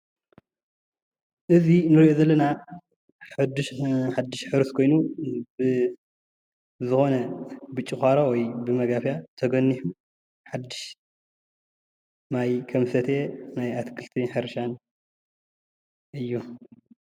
እዚ እንሪኦ ዘለና ሓዲሽ ሕሩስ ኾይኑ ብ ዝኾነ ብጭዃሮ ወይ ብማጋፍያ ሓዱሽ ማይ ከም ዝሰተየ ይርአየና ኣሎ።